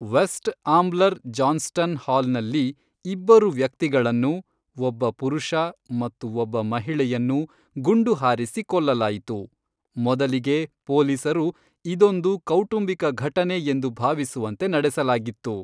West Ambler Johnston ಹಾಲ್ನಲ್ಲಿ ಇಬ್ಬರು ವ್ಯಕ್ತಿಗಳನ್ನು, ಒಬ್ಬ ಪುರುಷ ಮತ್ತು ಒಬ್ಬ ಮಹಿಳೆಯನ್ನು ಗುಂಡು ಹಾರಿಸಿ ಕೊಲ್ಲಲಾಯಿತು, ಮೊದಲಿಗೆ ಪೊಲೀಸರು ಇದೊಂದು ಕೌಟುಂಬಿಕ ಘಟನೆ ಎಂದು ಭಾವಿಸುವಂತೆ ನಡೆಸಲಾಗಿತ್ತು.